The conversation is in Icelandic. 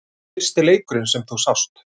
Fyrsti leikurinn sem þú sást?